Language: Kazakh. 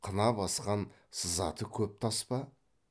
қына басқан сызаты көп тас па